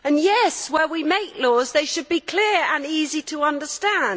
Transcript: and, yes, where we make laws they should be clear and easy to understand.